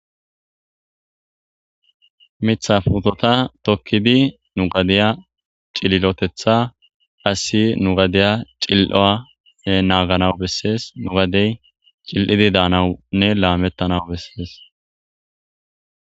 Mitha puteta tokid nu gadiya cililotetha hayssi nu gadiya cil'uwa naganas beses, nu gadey cil'id danawunne lametanaw beses.